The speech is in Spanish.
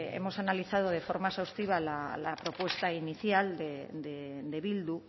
hemos analizado de forma exhaustiva la propuesta inicial de bildu